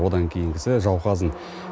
одан кейінгісі жауқазын